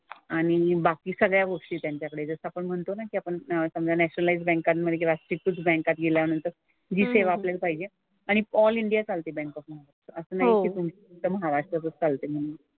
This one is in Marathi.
आणि बाकी सगळ्या गोष्टी त्यांच्याकडे जसं आपण म्हणतो नाही की आपण समजा नॅशनलाइज्ड बँकांमध्ये किंवा शेड्युल्ड बँकांमध्ये गेल्यानंतर जी सेवा आपल्याला पाहिजे आणि ऑल इंडिया चालते बँक ऑफ महाराष्ट्र. असं नाही की तुमचं महाराष्ट्रातच चालते म्हणजे.